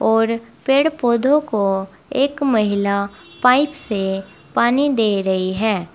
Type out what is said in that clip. और पेड़ पौधों को एक महिला पाइप से पानी दे रही है।